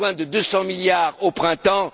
J'ai besoin de 200 milliards au printemps.